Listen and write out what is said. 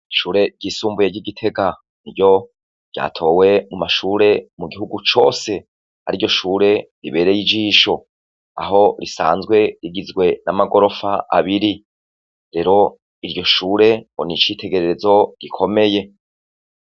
Ishure ryisumbuye ry'igitega niryo ryatowe mumashure mugihugu cose kwariryoshure ribereye ijisho; aho risanzwe rigizwe n'amagorofa abiri. Rero iryoshure ngonicitegererezo gikomeye.